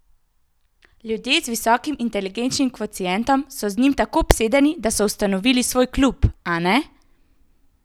Ljudje z visokim inteligenčnim kvocientom so z njim tako obsedeni, da so ustanovili svoj klub, a ne?